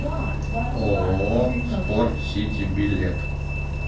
ооо спорт сити билет